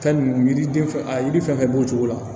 Fɛn ninnu yiriden fɛn fɛn a yiri fɛn b'o cogo la